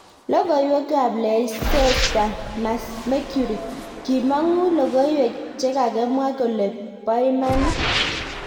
logoiwek ab Leicester Mercury; kimongu logoiwek chekakemwa kole bo imanit